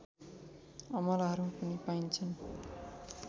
अमलाहरू पनि पाइन्छन्